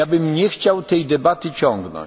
nie chciałbym tej debaty ciągnąć.